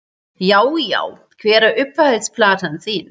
Já Já Hver er uppáhalds platan þín?